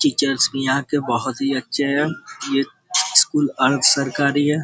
Teachers भी यहाँ के बहुत ही अच्छे है ये स्कूल अर्ध सरकारी है।